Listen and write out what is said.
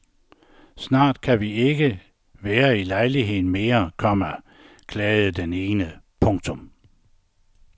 Snart kan vi ikke være i lejligheden mere, komma klagede den ene. punktum